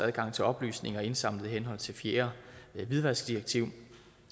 adgang til oplysninger indsamlet i henhold til fjerde hvidvaskdirektiv